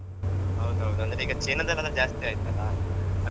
ಹೌದೌದ್ ಅಂದ್ರೆ ಈಗ ಚೀನಾದಲ್ಲೆಲ್ಲ ಜಾಸ್ತಿ ಆಯ್ತಲ್ಲಾ.